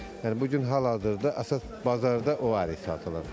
Yəni bu gün hal-hazırda əsas bazarda o ərik satılır.